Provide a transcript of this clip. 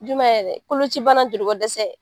Jumɛ yɛrɛ, kolocibana joli ko dɛsɛ.